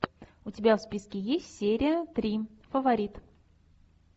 у тебя в списке есть серия три фаворит